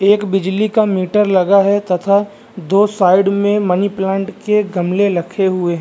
एक बिजली का मीटर लगा है तथा दो साइड में मनीप्लांट के गमले रखे हुए --